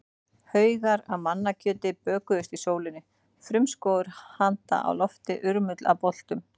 Haugar af mannakjöti bökuðust í sólinni, frumskógur handa á lofti, urmull af boltum.